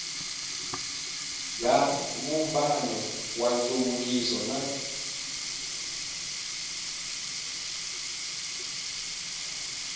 bya vumbano wa nhluvukiso na